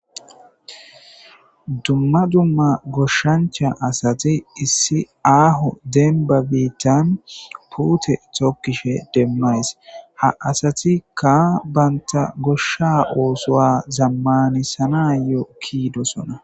Dumma dumma goshshancha asati issi aaho denba biittan puute tokkishe demmays ha asatikka baynta goshsha oosowa zammanisanayokkiidosona.